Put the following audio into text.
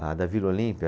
Ah, da Vila Olímpia?